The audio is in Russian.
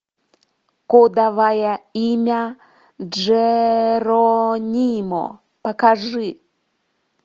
кодовое имя джеронимо покажи